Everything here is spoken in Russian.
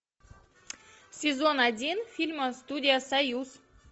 сезон один фильма студия союз